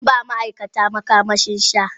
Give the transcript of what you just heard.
Zan ba ma'aikata makamashi sha.